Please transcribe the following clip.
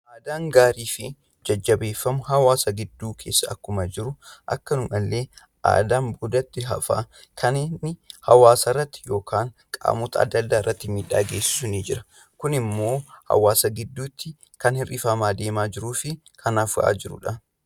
Aadaa gaarii fi jajjabeeffamuu qaban akkuma jiran, Aadaan duubatti hafaan hawwaasarratti miidhaa geessisu ni jira. Kunimmoo hawwaasa gidduutti kan hir'ifamaa fi dhabamaa jirudha.